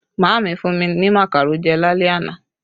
Maami fún mi ní makaro jẹ lálẹ́ àná